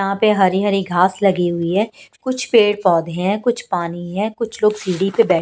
यहां पे हरी हरी घास लगी हुई है कुछ पेड़ पौधे हैं कुछ पानी है कुछ लोग सीढ़ी पे --